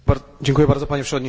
Panie Przewodniczący!